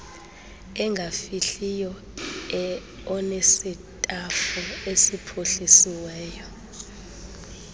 engafihliyo onesitafu esiphuhlisiweyo